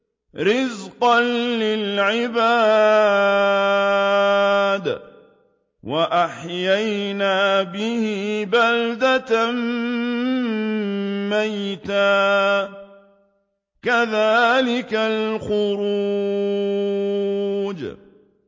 رِّزْقًا لِّلْعِبَادِ ۖ وَأَحْيَيْنَا بِهِ بَلْدَةً مَّيْتًا ۚ كَذَٰلِكَ الْخُرُوجُ